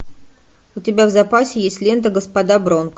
у тебя в запасе есть лента господа бронко